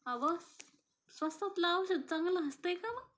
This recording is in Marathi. अवं स्वस्तातलं औषध चांगल असतयं का मगं?